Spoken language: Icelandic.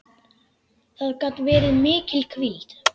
Það gat verið mikil hvíld.